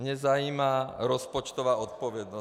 Mě zajímá rozpočtová odpovědnost.